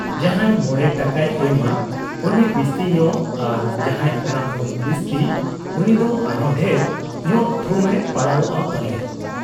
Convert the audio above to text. ᱡᱟᱦᱟᱸᱭ ᱢᱚᱬᱮ ᱴᱟᱠᱟᱭ ᱮᱢᱟ ᱩᱱᱤ ᱵᱤᱥᱛᱤ ᱧᱚᱜ ᱟᱨ ᱡᱟᱦᱟᱸᱭ ᱚᱱᱟ ᱠᱷᱚᱱ ᱵᱤᱥᱛᱤ ᱩᱱᱤᱫᱚ ᱟᱨᱦᱚᱸ ᱰᱷᱮᱨ ᱧᱚᱜ ᱛᱷᱩᱢ ᱮ ᱯᱟᱲᱟᱣᱜ ᱟ ᱯᱟᱞᱮ ᱾